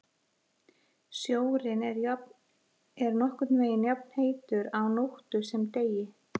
Sjórinn er nokkurn veginn jafnheitur á nóttu sem degi.